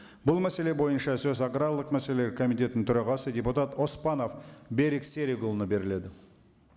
бұл мәселе бойынша сөз аграрлық мәселелер комитетінің төрағасы депутат оспанов берік серікұлына беріледі